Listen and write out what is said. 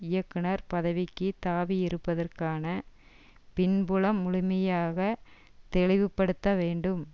இயக்குனர் பதவிக்கு தாவி இருப்பதற்கான பின்புலம் முழுமையாக தெளிவுபடுத்த வேண்டும்